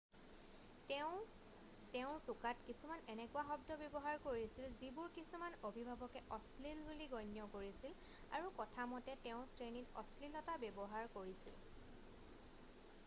তেওঁ তেওঁৰ টোকাত কিছুমান এনেকুৱা শব্দ ব্যৱহাৰ কৰিছিল যিবোৰ কিছুমান অভিভাৱকে অশ্লীল বুলি গণ্য কৰিছিল আৰু কথা মতে তেওঁ শ্ৰেণীত অশ্লীলতা ব্যৱহাৰ কৰিছিল